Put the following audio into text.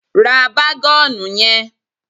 Ra bágọ́ọ̀nù yẹn.